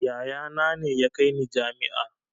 Yaya na ne ya kai ni jami'a